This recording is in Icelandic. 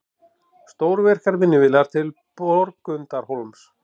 Stórvirkar vinnuvélar til Borgundarhólms